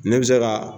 Ne bɛ se ka